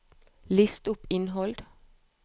list opp innhold